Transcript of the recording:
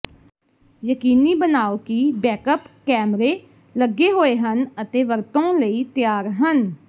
ਯਕੀਨੀ ਬਣਾਉ ਕਿ ਬੈਕਅੱਪ ਕੈਮਰੇ ਲੱਗੇ ਹੋਏ ਹਨ ਅਤੇ ਵਰਤੋਂ ਲਈ ਤਿਆਰ ਹਨ